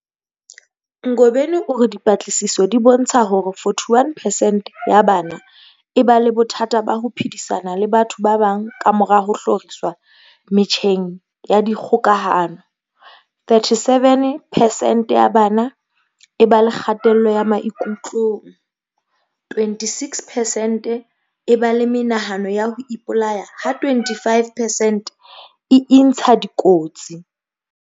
Ngobeni o re dipatlisiso di bontsha hore 41 peercent ya bana e ba le bothata ba ho phedisana le batho ba bang kamora ho hloriswa metjheng ya dikgokahano, 37 percent ya bana e ba le kgatello maikutlong, 26 percent e ba le menahano ya ho ipolaya ha 25 percent e intsha dikotsi.